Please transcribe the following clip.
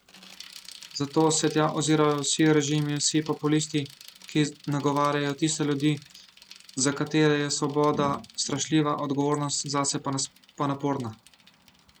Zato se tja ozirajo vsi režimi in vsi populisti, ki nagovarjajo tiste ljudi, za katere je svoboda strašljiva, odgovornost zase pa naporna.